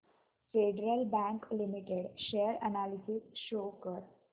federal bank limited share analysis show कर